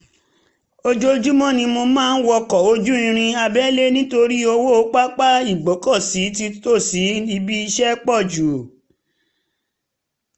ojoojúmọ́ ni mo máa ń wọkọ̀ ojú irin abẹ́lẹ̀ nítorí owó pápá ìgbọ́kọ̀sí nítòsí ibi iṣẹ́ pọ̀ jù